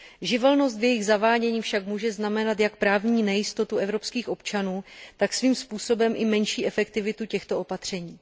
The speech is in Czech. Živelnost v jejich zavádění však může znamenat jak právní nejistotu evropských občanů, tak svým způsobem i menší efektivitu těchto opatření.